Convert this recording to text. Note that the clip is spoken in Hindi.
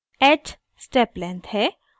h स्टेप लेंथ है और